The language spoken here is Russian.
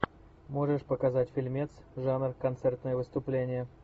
можешь показать фильмец жанр концертное выступление